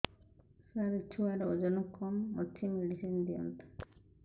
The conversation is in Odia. ସାର ଛୁଆର ଓଜନ କମ ଅଛି ମେଡିସିନ ଦିଅନ୍ତୁ